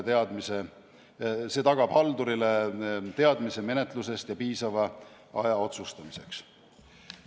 See tagab haldurile teadmise menetlusest ja piisava aja otsustamiseks.